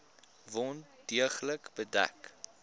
wond deeglik bedek